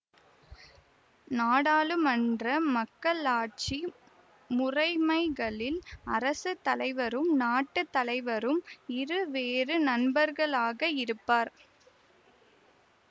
நாடாளுமன்ற மக்களாட்சி முறைமைகளில் அரசு தலைவரும் நாட்டு தலைவரும் இரு வேறு நண்பர்களாக இருப்பார்